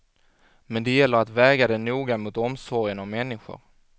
Men det gäller att väga det noga mot omsorgen om människor.